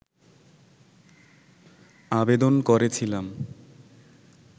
আবেদন করেছিলাম